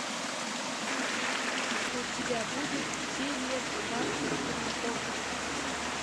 у тебя будет серия двадцать три офис